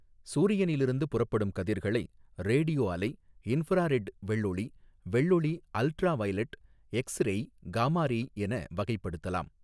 சூரியனில் இருந்து புறப்படும் கதிர்களை ரேடியோ அலை இன்ஃப்ராரெட் வெள்ளொளி வெள்ளொளி ultra violet X ray gamma ray என வகைப்படுத்தலாம்.